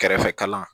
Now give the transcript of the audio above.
Kɛrɛfɛ kalan